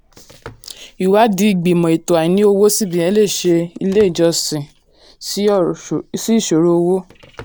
ìwádìí ìgbìmò: ètò àìní owó cbn lè ṣe ilé-ìjọsìn sí ìṣoro owó.